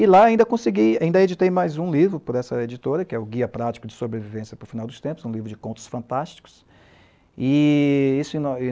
E lá ainda editei mais um livro por essa editora, que é o Guia Prático de Sobrevivência para o Final dos Tempos, um livro de contos fantásticos, e isso em